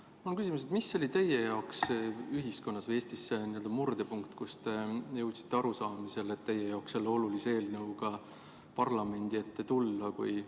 Mul on selline küsimus: mis oli teie jaoks ühiskonnas või Eestis murdepunkt, kui te jõudsite arusaamisele, et teil tuleb selle teie jaoks olulise eelnõuga parlamendi ette tulla?